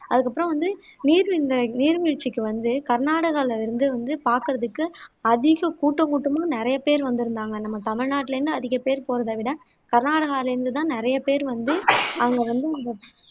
அதுக்கப்பறம் வந்து நீர்ங்க நீர்வீழ்ச்சிக்கு வந்து கர்நாடகால இருந்து வந்து பாக்குறதுக்கு அதிக கூட்ட கூட்டமா நிறைய பேரு வந்துருந்தாங்க நம்ம தமிழ்நாட்டுல இருந்து அதிக பேர் போறதை விட கர்நாடகால இருந்து தான் நிறைய பேர் வந்து அங்க வந்து இந்த